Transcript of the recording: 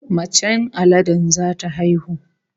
Macen aladen zata haihu